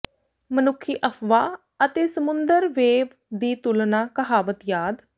ਮਨੁੱਖੀ ਅਫ਼ਵਾਹ ਅਤੇ ਸਮੁੰਦਰ ਵੇਵ ਦੀ ਤੁਲਨਾ ਕਹਾਵਤ ਯਾਦ